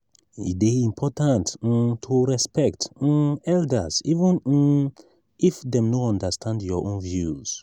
e dey important um to respect um elders even um if dem no understand your own views.